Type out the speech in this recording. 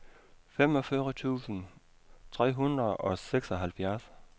femogfyrre tusind tre hundrede og seksoghalvfjerds